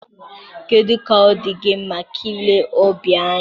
Kedu ka ọ dị gị maka ile ọbịa anyị?